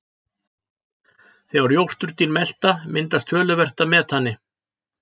þegar jórturdýr melta myndast töluvert af metani